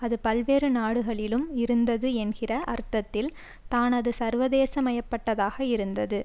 அது பல்வேறு நாடுகளிலும் இருந்தது என்கிற அர்த்தத்தில் தான் அது சர்வதேசியமயப்பட்டதாக இருந்தது